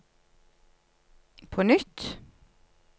på nytt